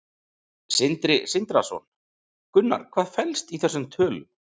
Sindri Sindrason: Gunnar, hvað felst í þessum tölum?